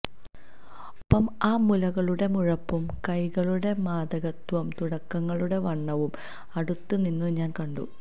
ഒപ്പം ആ മുലകളുടെ മുഴുപ്പും കൈകളുടെ മാദകത്വവും തുടകളുടെ വണ്ണവും അടുത്തുനിന്നു ഞാന് കണ്ടു